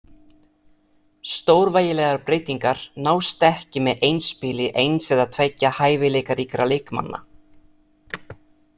Stórvægilegar breytingar nást ekki með einspili eins eða tveggja hæfileikaríkra leikmanna .